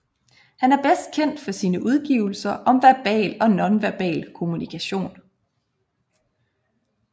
Han er bedst kendt for sine udgivelser om verbal og nonverbal kommunikation